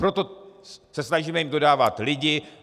Proto se snažíme jim dodávat lidi.